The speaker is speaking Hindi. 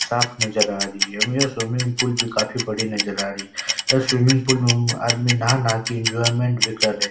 साफ़ नजर आ रही है। यह स्विमिंग पूल भी काफी बड़ी नजर आ रही है। यह स्विमिंग पूल में आदमी नहा नहा के एंजॉयमेंट भी कर रहे --